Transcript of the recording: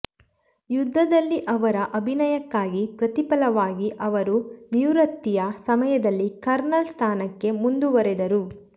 ಯುದ್ಧದಲ್ಲಿ ಅವರ ಅಭಿನಯಕ್ಕಾಗಿ ಪ್ರತಿಫಲವಾಗಿ ಅವರು ನಿವೃತ್ತಿಯ ಸಮಯದಲ್ಲಿ ಕರ್ನಲ್ ಸ್ಥಾನಕ್ಕೆ ಮುಂದುವರೆದರು